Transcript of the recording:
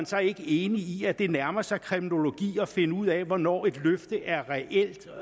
så ikke enig i at det nærmer sig kremlologi at finde ud af hvornår et løfte er reelt